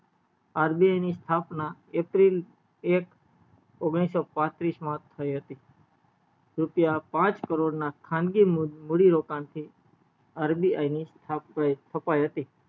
RBI ની સ્થાપના april એક ઓગણીસો પાત્રીસ માં થય હતી રૂપિયા પાંચ કરોડ ના ખાનગી મુળી રોકાણ થી RBI ની સ્થપાય હતી